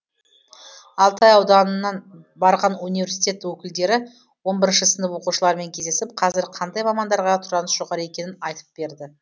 алтай ауданынан барған университет өкілдері он бірінші сынып оқушыларымен кездесіп қазір қандай мамандарға сұраныс жоғары екенін айтып берді